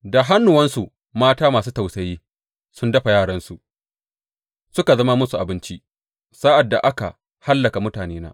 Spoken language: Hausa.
Da hannuwansu mata masu tausayi sun dafa yaransu, suka zama masu abinci sa’ad da aka hallaka mutanena.